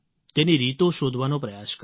તેની રીતો શોધવાનો પ્રયાસ કર્યો